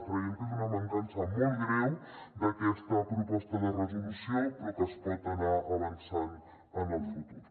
creiem que és una mancança molt greu d’aquesta proposta de resolució però que es pot anar avançant en el futur